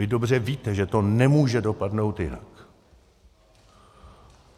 Vy dobře víte, že to nemůže dopadnout jinak.